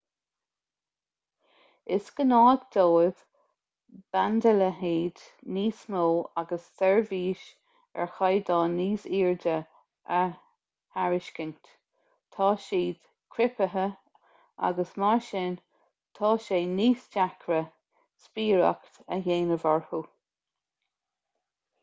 is gnách dóibh bandaleithead níos mó agus seirbhís ar chaighdeán níos airde a thairiscint tá siad criptithe agus mar sin tá sé níos deacra spiaireacht a dhéanamh orthu